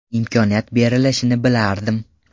Imkoniyat berilishini bilardim.